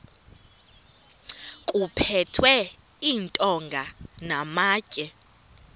kuphethwe iintonga namatye